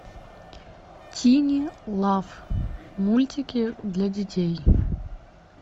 тини лав мультики для детей